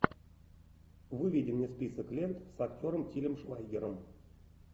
выведи мне список лент с актером тилем швайгером